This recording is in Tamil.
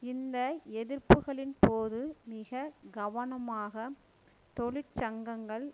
இந்த எதிர்ப்புக்களின் போது மிக கவனமாக தொழிற்சங்கங்கள்